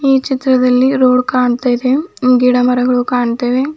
ಈ ಚಿತ್ರದಲ್ಲಿ ರೋಡ್ ಕಾಣ್ತಾ ಇದೆ ಗಿಡಮರಗಳು ಕಾಣ್ತಿವೆ.